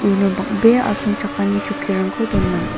uno bang·bea asongchakani chokkirangko dona.